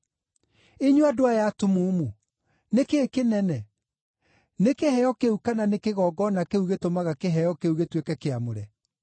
Inyuĩ andũ aya atumumu! Nĩ kĩĩ kĩnene? Nĩ kĩheo kĩu, kana nĩ kĩgongona kĩrĩa gĩtũmaga kĩheo kĩu gĩtuĩke kĩamũre?